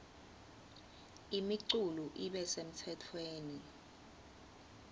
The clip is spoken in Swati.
imiculu ibe semtsetfweni